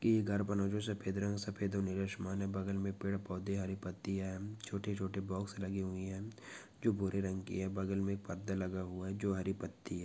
ये घर बना सफेद रंग सफ़ेद और नीला आसमान है बगल मे पेड़ पौधे हरी पत्तिया है छोटे छोटे बॉक्स लगे हुई है जो भूरे रंग की है बगल मे पर्दा लगा हुआ है जो हरी पत्ति है।